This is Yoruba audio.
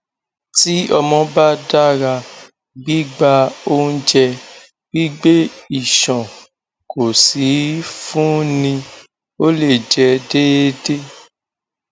ti ọmọ ba dara gbigba ounjẹ gbigbe iṣan ko si ifunni o le jẹ deede